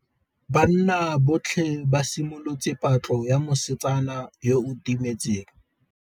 Banna botlhê ba simolotse patlô ya mosetsana yo o timetseng.